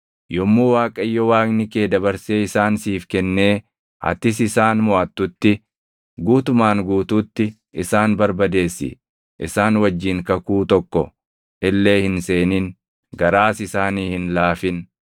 yommuu Waaqayyo Waaqni kee dabarsee isaan siif kennee atis isaan moʼattutti, guutumaan guutuutti isaan barbadeessi. Isaan wajjin kakuu tokko illee hin seenin; garaas isaanii hin laafin.